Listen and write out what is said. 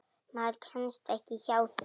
Maður kemst ekki hjá því.